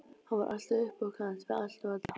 Hann var alltaf upp á kant við allt og alla.